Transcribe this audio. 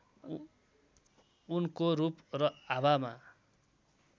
उनको रूप र आभामा